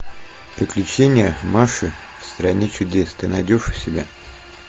приключения маши в стране чудес ты найдешь у себя